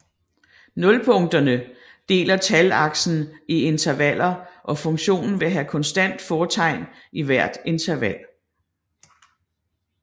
Nulpunkterne deler talaksen i intervaller og funktionen vil have konstant fortegn i hvert interval